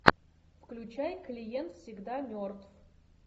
включай клиент всегда мертв